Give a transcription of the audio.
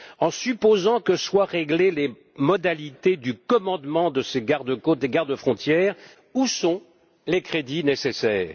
En supposant que soient réglées les modalités du commandement de ces garde côtes et gardes frontières, où sont les crédits nécessaires?